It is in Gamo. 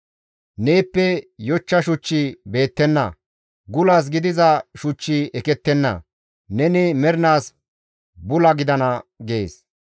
Neeppe yochcha shuchchi beettenna; gulas gidiza shuchchi ekettenna; neni mernaas bula gidana» gees.